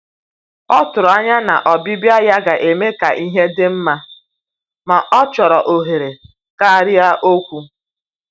Ọ tụrụ anya na ọbịbịa ya ga-eme ka ihe dị mma, ma ọ chọrọ ohere karịa okwu.